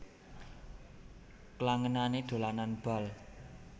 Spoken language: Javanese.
Klangenané dolanan bal